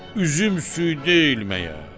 Üzüm suyu deyil məyər?